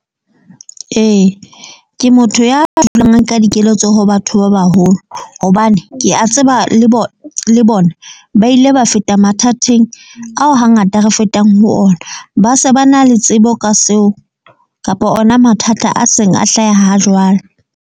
Ee, ke motho ya dulang a nka dikeletso ho batho ba baholo. Hobane ke a tseba le bona le bona ba ile ba feta mathateng ao ha ngata re fetang ho ona. Ba se ba na le tsebo ka seo kapa ona mathata a seng a hlaha ha jwale.